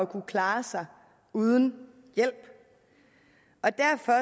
kunne klare sig uden hjælp